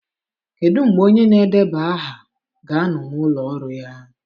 Kedu mgbe onye na-edeba aha ga-anọ n'ụlọ ọrụ ya?